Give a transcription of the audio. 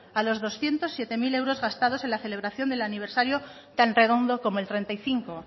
a los doscientos siete mil euros gastados en la celebración del aniversario tan redondo como el treinta y cinco